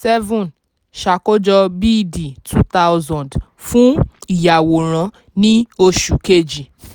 seven ṣàkójọ b d two thousand fún ìyàwórán ní oṣù kejì.